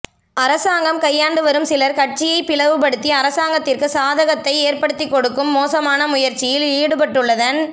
அரசாங்கம் கையாண்டு வரும் சிலர் கட்சியை பிளவுப்படுத்தி அரசாங்கத்திற்கு சாதகத்தை ஏற்படுத்திக்கொடுக்கும் மோசமான முயற்சியில் ஈடுபட்டுள்ளதன்